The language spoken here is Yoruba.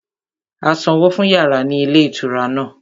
A sanwó fún yàrá ní ilé ìtura náà